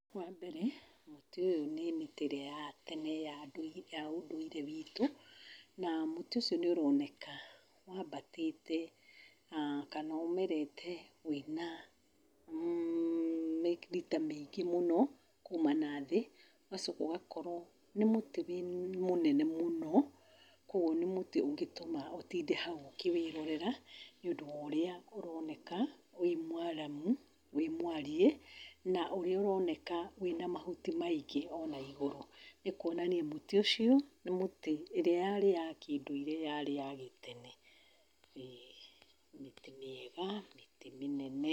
Wa mbere, mũtĩ ũyũ nĩ mĩtĩ ĩrĩa ya tene ya ũndũire witũ. Na mũtĩ ũcio nĩ ũroneka waambatĩte na kana ũmerete wĩna mita mĩingĩ mũno kuuma nathĩ. Ũgacoka ũgakorwo nĩ mũtĩ mũnene mũno kwoguo, nĩ mũtĩ ũngĩtũma ũtinde hau ũkĩwĩĩrorera nĩũndũ wa ũrĩa ũrooneka wĩ mwaramu, wĩ mwariĩ na ũrĩa ũroneka wĩna mahuti maingĩ o na igũrũ. Nĩ kwonania mũtĩ ũcio nĩ mũtĩ, ĩrĩa yaarĩ ya kĩndũire yaarĩ ya gĩtene. ĩ, mĩtĩ mĩega, mĩtĩ mĩnene.